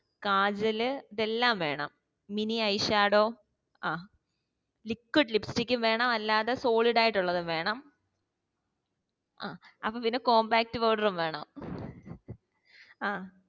കാജൽ ഇതെല്ലം വേണം mini eyeshadow ആ liquid lipstick ഉം വേണം അല്ലാതെ solid ആയിട്ട് ഉള്ളതും വേണം അഹ് അപ്പൊ പിന്നേ compact powder ഉം വേണം